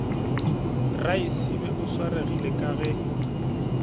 raisibe o swaregile ka ge